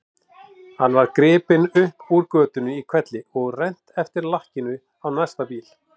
Hann var gripinn upp úr götunni í hvelli og rennt eftir lakkinu á næsta bíl.